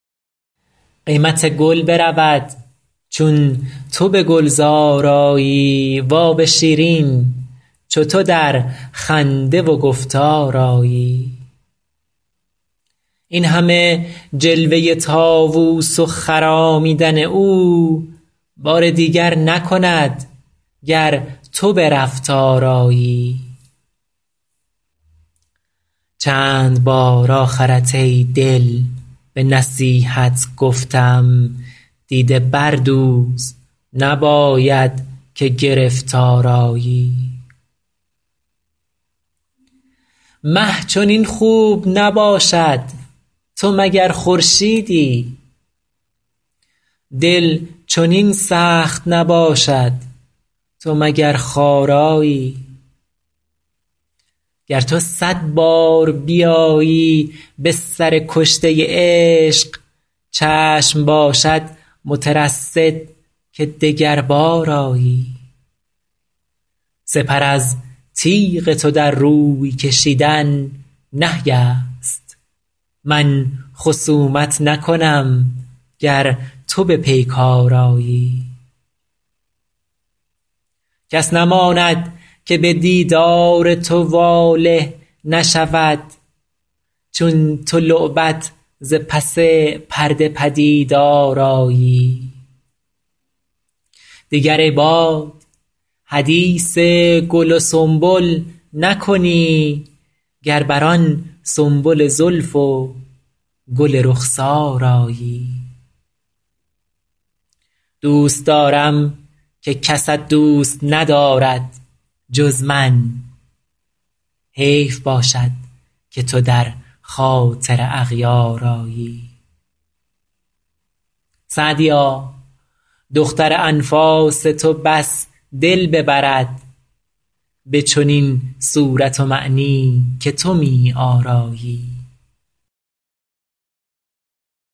قیمت گل برود چون تو به گلزار آیی و آب شیرین چو تو در خنده و گفتار آیی این همه جلوه طاووس و خرامیدن او بار دیگر نکند گر تو به رفتار آیی چند بار آخرت ای دل به نصیحت گفتم دیده بردوز نباید که گرفتار آیی مه چنین خوب نباشد تو مگر خورشیدی دل چنین سخت نباشد تو مگر خارایی گر تو صد بار بیایی به سر کشته عشق چشم باشد مترصد که دگربار آیی سپر از تیغ تو در روی کشیدن نهی است من خصومت نکنم گر تو به پیکار آیی کس نماند که به دیدار تو واله نشود چون تو لعبت ز پس پرده پدیدار آیی دیگر ای باد حدیث گل و سنبل نکنی گر بر آن سنبل زلف و گل رخسار آیی دوست دارم که کست دوست ندارد جز من حیف باشد که تو در خاطر اغیار آیی سعدیا دختر انفاس تو بس دل ببرد به چنین صورت و معنی که تو می آرایی